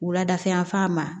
Wuladafɛ yanfan ma